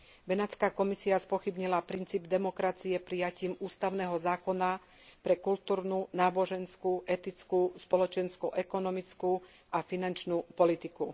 Benátska komisia spochybnila princíp demokracie prijatím ústavného zákona pre kultúrnu, náboženskú, etickú, spoločenskú, ekonomickú a finančnú politiku.